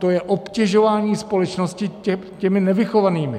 To je obtěžování společnosti těmi nevychovanými.